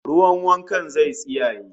Ruwan wankan zai tsiyaye